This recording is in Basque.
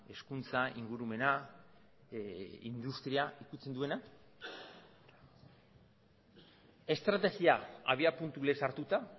hezkuntza ingurumena industri ukitzen duena estrategia abiapuntu lez hartuta